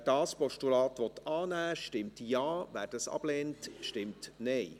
Wer dieses Postulat annimmt, stimmt Ja, wer dies ablehnt, stimmt Nein.